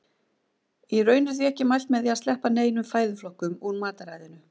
Í raun er því ekki mælt með að sleppa neinum fæðuflokkum úr mataræðinu.